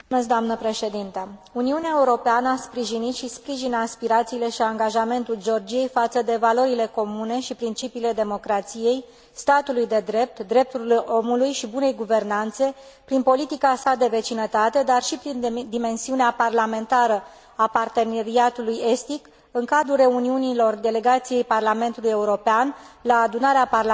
Uniunea Europeană a sprijinit și sprijină aspirațiile și angajamentul Georgiei față de valorile comune și principiile democrației, statului de drept, drepturilor omului și bunei guvernanțe, prin politica sa de vecinătate, dar și prin dimensiunea parlamentară a Parteneriatului estic, în cadrul reuniunilor delegației Parlamentului European la Adunarea Parlamentară Euronest.